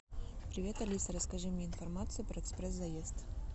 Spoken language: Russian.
привет алиса расскажи мне информацию про экспресс заезд